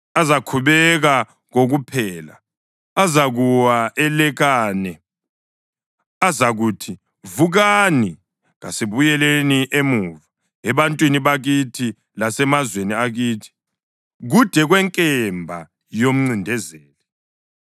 Azakhubeka kokuphela; azakuwa elekane. Azakuthi, ‘Vukani, kasibuyeleni emuva ebantwini bakithi lasemazweni akithi, kude kwenkemba yomncindezeli.’